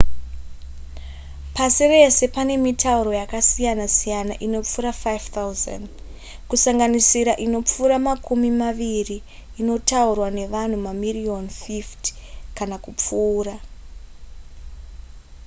pasi rese pane mitauro yakasiyanasiyana inopfuura 5 000 kusanganisira inopfuura makumi maviri inotaurwa nevanhu mamiriyoni 50 kana kupfuura